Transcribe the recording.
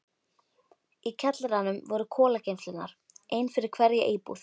Í kjallaranum voru kolageymslurnar, ein fyrir hverja íbúð.